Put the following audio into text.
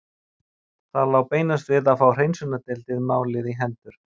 Það lá beinast við að fá hreinsunardeildinni málið í hendur.